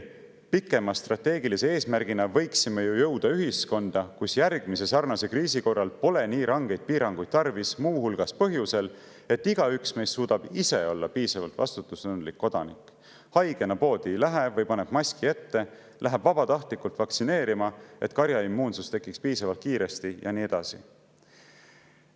"Pikema strateegilise eesmärgina võiksime ju jõuda ühiskonda, kus järgmise sarnase kriisi korral pole nii rangeid piiranguid tarvis muu hulgas põhjusel, et igaüks meist suudab ise olla piisavalt vastutustundlik kodanik: haigena poodi ei lähe või paneb maski ette, läheb vabatahtlikult vaktsineerima, et karjaimmuunsus tekiks piisavalt kiiresti, jne.